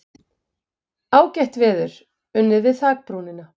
Ágætt veður, unnið við þakbrúnina.